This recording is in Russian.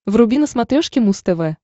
вруби на смотрешке муз тв